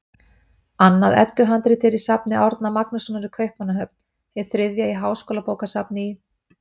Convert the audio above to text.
Annað Eddu-handrit er í safni Árna Magnússonar í Kaupmannahöfn, hið þriðja í Háskólabókasafni í